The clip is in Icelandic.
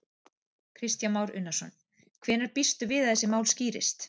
Kristján Már Unnarsson: Hvenær býstu við að þessi mál skýrist?